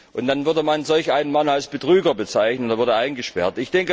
Und dann würde man solch einen Mann als Betrüger bezeichnen, er würde eingesperrt.